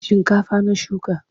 Shinkafa na shuka.